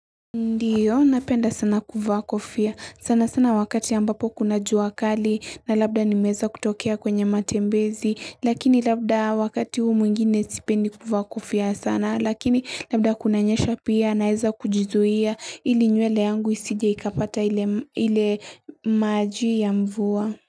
Ndiyo, napenda sana kuvaa kofia. Sana sana wakati ambapo kuna jua kali na labda nimeweza kutokea kwenye matembezi. Lakini labda wakati huu mwingine sipendi kuvaa kofia sana. Lakini labda kunanyesha pia naweza kujizuia ili nywele yangu isije ikapata ile maji ya mvua.